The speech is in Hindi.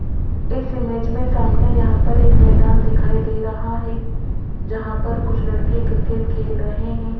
इस इमेज में सामने यहां पर एक मैदान दिखाई दे रहा है जहां पर कुछ लड़के क्रिकेट खेल रहे हैं।